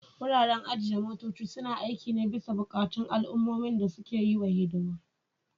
Wuraren ajiye motoci suna aiki ne bisa buƙatun al'ummomin da suke yi wa hidima.